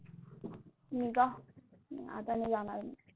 मी का नाही आता नाही जाणार आहे.